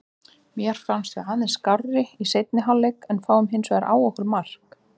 Mér fannst við aðeins skárri í seinni hálfleik en fáum hinsvegar á okkur mark.